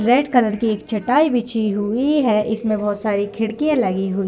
red colour की एक चटाई बिछी हुई है इसमें बहोत सारी खिड़कियां लगी हुई --